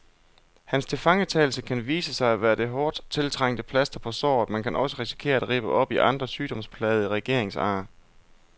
Hans tilfangetagelse kan vise sig at være det hårdt tiltrængte plaster på såret, men kan også risikere at rippe op i andre sygdomsplagede regeringsar.